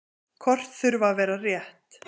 Kort þurfa að vera rétt.